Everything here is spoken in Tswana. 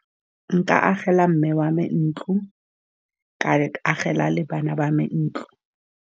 Nka agela mme wa me ntlo, ka agela le bana ba me ntlo.